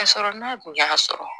Ka sɔrɔ n'a kun y'a sɔrɔ